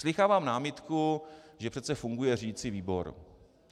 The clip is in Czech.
Slýchávám námitku, že přece funguje řídicí výbor.